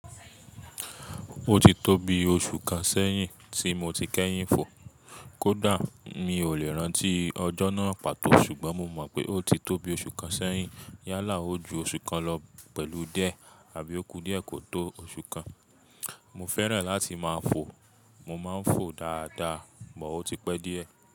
Ó ti tóbi oṣù kan sẹ́yìn tí mo ti kẹ́yìn fò. Kódà mi ò lè rántí ọjọ́ náà pàtó ṣùgbọ́n mo mọ̀ pé ó ti tóbi oṣù kan sẹ́yìn. Yálà ó ju oṣù kan lọ pẹ̀lú díẹ̀, àbí ó kú díẹ̀ kò tó oṣù kan. Mo fẹ́ràn láti máa fò, mo máa ń fò dáadáa, but o ti pẹ́ díẹ̀